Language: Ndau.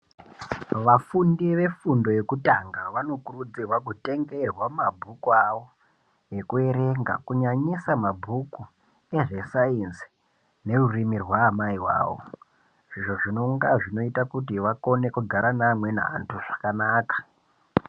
Vafundi vefundo yekutanga vanokurudzirwa kutengerwa mabhuku avo ekuerenga kunyanyisa mabhuku ezve sainzi nerurimi rwaamai vavo izvo zvinonga zvinoita kuti vakone kugara neamweni antu zvakanaka.